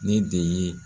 Ne de ye